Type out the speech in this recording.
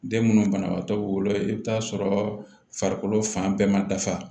Den munnu banabagatɔ bɛ wolo i bɛ t'a sɔrɔ farikolo fan bɛɛ ma dafa